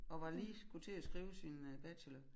Og var lige skulle til at skrive sin øh bachelor